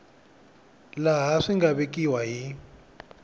laha swi nga vekiwa hi